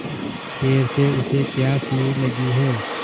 देर से उसे प्यास नहीं लगी हैं